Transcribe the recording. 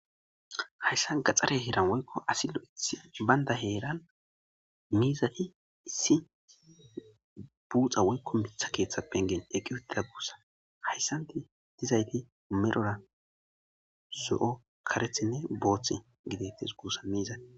hayssa gaxxare heran woykko asi loythi baynda heeran miizati issi buuxa woykko mitha keeththa pengen eqqi hudida guussa hayssanti dizayti medhora so7o karethinne boothth gideytes guussa miizati